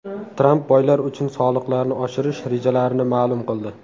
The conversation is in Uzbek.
Tramp boylar uchun soliqlarni oshirish rejalarini ma’lum qildi.